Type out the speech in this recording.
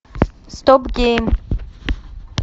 стоп гейм